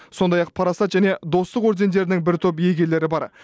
сондай ақ парасат және достық ордендерінің бір топ иегерлері бар